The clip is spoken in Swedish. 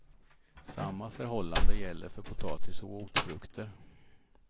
Samma förhållande gäller för potatis och rotfrukter.